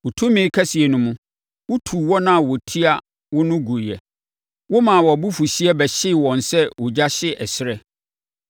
“Wo tumi kɛseɛ no mu, wotuu wɔn a wɔtia wo no guiɛ. Womaa wʼabufuhyeɛ bɛhyee wɔn sɛ ogya hye ɛserɛ.